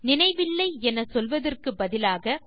நினைவில்லை என சொல்வதற்கு பதிலாக